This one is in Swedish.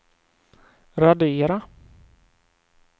radera